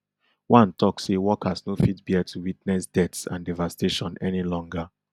one one tok say workers no fit bear to witness deaths and devastation any longer